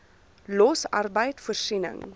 los arbeid voorsiening